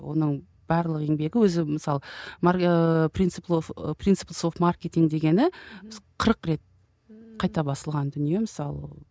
оның барлық еңбегі өзі мысалы ыыы принцип ы принцип соф маркетинг дегені қырық рет қайта басылған дүние мысалы